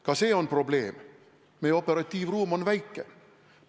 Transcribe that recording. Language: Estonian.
Ka see on probleem, et meie operatiivruum on väike.